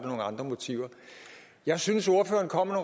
andre motiver jeg synes ordføreren kom med